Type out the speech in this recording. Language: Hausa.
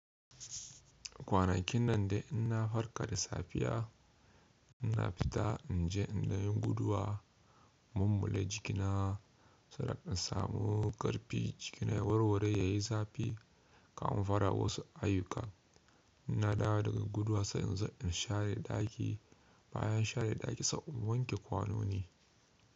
Kwanakin nan dai ina farka da safiya, ina fita in je in yi guduwa, mummale jikina saboda in samu ƙarfi jikina ya warware yayi zafi kamar fara wasu ayuka. Ina dawo daga guduwa sai in share daki, bayan share daki sai inwanke kwanoni.